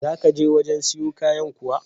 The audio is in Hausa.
Za ka je wajen siyo kayan kuwa?